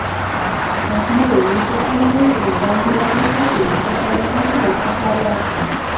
આભાએ નીચે પડી રહેલા ગાંધીના મસ્તકને પોતાના હાથનો સહારો આપ્યો